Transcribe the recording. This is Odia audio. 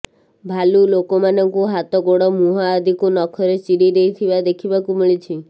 ଭାଲୁ ଲୋକମାନଙ୍କୁ ହାତ ଗୋଡ଼ ମୁହଁ ଆଦିକୁ ନଖରେ ଚିରି ଦେଇଥିବା ଦେଖିବାକୁ ମିଳିଛି